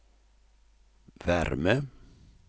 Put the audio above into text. värme